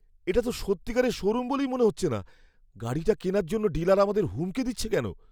এটা তো সত্যিকারের শোরুম বলেই মনে হচ্ছে না। গাড়িটা কেনার জন্য ডিলার আমাদের হুমকি দিচ্ছে কেন?